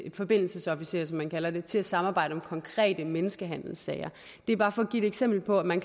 forbindelsesofficerer som man kalder det til at samarbejde om konkrete menneskehandelssager det er bare for at give et eksempel på at man